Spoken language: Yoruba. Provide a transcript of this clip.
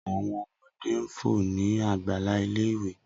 Awọn ọmọde n fo ni agbala ile-iwe